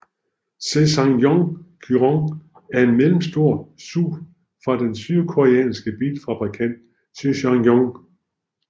SsangYong Kyron er en mellemstor SUV fra den sydkoreanske bilfabrikant SsangYong